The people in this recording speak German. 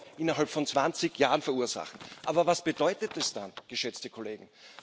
Euro innerhalb von 20 Jahren verursachen. Aber was bedeutet das dann, geschätzte Kollegen?